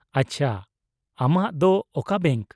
-ᱟᱪᱪᱷᱟ, ᱟᱢᱟᱜ ᱫᱚ ᱚᱠᱟ ᱵᱮᱝᱠ ?